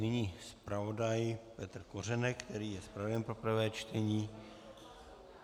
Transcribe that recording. Nyní zpravodaj Petr Kořenek, který je zpravodajem pro prvé čtení.